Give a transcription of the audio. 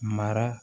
Mara